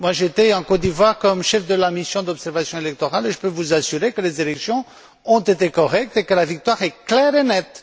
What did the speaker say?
J'ai été en Côte d'Ivoire comme chef de la mission d'observation électorale, et je peux vous assurer que les élections ont été correctes et que la victoire est claire et nette.